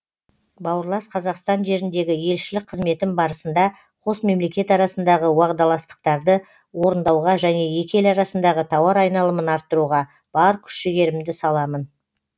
бауырлас қазақстан жеріндегі елшілік қызметім барысында қос мемлекет арасындағы уағдаластықтарды орындауға және екі ел арасындағы тауар айналымын арттыруға бар күш жігерімді саламын